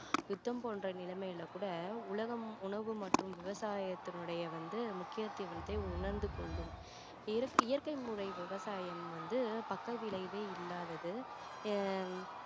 யுத்தம் போன்ற நிலைமையில கூட உலகம் உணவு மற்றும் விவசாயத்தினுடைய வந்து முக்கியதுவத்தை வந்து உணர்ந்து கொள்ளும் இயற்கை முறை விவசாயம் வந்து பக்க விளைவே இல்லாதது ஆஹ்